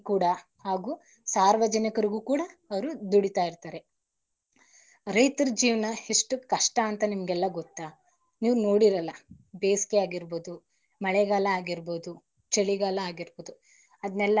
ರೂಢಿಗಾಗಿ ಕೂಡ ಹಾಗೂ, ಸಾರ್ವಜನಿಕರಿಗೂ ಕೂಡ ಅವರು ದುಡಿತಿರ್ತಾರೆ. ರೈತರ ಜೀವನ ಎಷ್ಟು ಕಷ್ಟ ಅಂತ ನಿಮಗೆಲ್ಲ ಗೊತ್ತಾ? ನೀವು ನೋಡಿರಲ್ಲ ಬೇಸಿಗೆಯಾಗಿರ್ಬೋದು, ಮಳೆಗಾಲ ಆಗಿರ್ಬೋದು, ಚಳಿಗಾಲ ಆಗಿರ್ಬೋದು, ಅದನೆಲ್ಲ ಅವರು ತಲೆಗೆ ಹಚ್ಚಕೋಳಲ್ಲಾ ಯಾಕಂದ್ರೆ ಬೇಸಿಗೆಕಾಲ ಅಂತ,